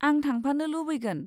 आं थांफानो लुबैगोन।